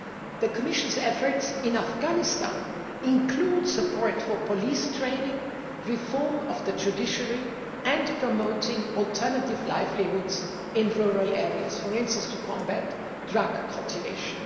The Commission's efforts in Afghanistan include support for police training, reform of the judiciary and promoting alternative livelihoods in rural areas, for instance to combat drug cultivation.